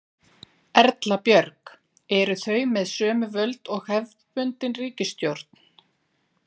Erla Björg: Eru þau með sömu völd og hefðbundin ríkisstjórn?